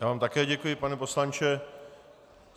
Já vám také děkuji, pane poslanče.